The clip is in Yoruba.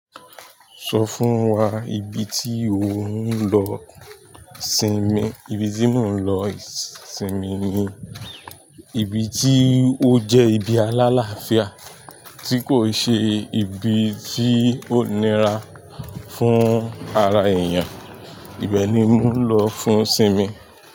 Sọ fún wa ibi tí ò ń lọ sinmi. Ibi tí mò ń lọ sinmi ni ibi tí ó jẹ́ ibi alálàáfíà tí kò i ṣe ibi tí ó nira fún ara èèyàn. Ibẹ̀ ni mò ń lọ fún sinmi.